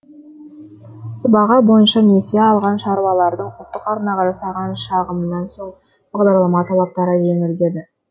сыбаға бойынша несие алған шаруалардың ұлттық арнаға жасаған шағымынан соң бағдарлама талаптары жеңілдеді